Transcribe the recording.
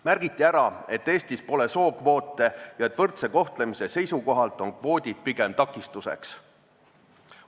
Märgiti ära, et Eestis pole sookvoote ja et võrdse kohtlemise seisukohalt on kvoodid pigem takistuseks.